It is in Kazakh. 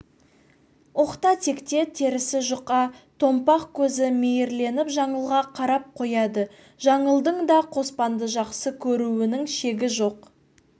оқта-текте терісі жұқа томпақ көзі мейірленіп жаңылға қарап қояды жаңылдың да қоспанды жақсы көруінің шегі жоқ